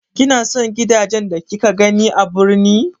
Kina son gidajen da kika gani birni.